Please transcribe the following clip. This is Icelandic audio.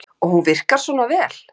Birta: Og hún virkar svona vel?